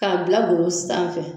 K'a bila golo sanfɛ